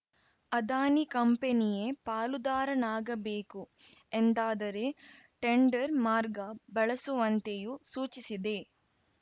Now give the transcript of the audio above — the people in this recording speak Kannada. ಅದಾನಿ ಕಂಪನಿಯೇ ಪಾಲುದಾರನಾಗಬೇಕು ಎಂದಾದರೆ ಟೆಂಡರ್‌ ಮಾರ್ಗ ಬಳಸುವಂತೆಯೂ ಸೂಚಿಸಿದೆ